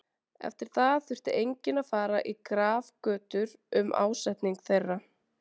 Eftir það þurfti enginn að fara í grafgötur um ásetning þeirra.